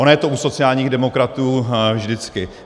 Ono je to u sociálních demokratů vždycky.